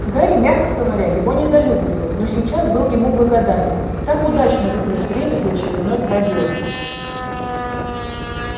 гарри мягко говоря его недолюбливал но сейчас был ему благодарен так удачно выбрать время для очередной проделки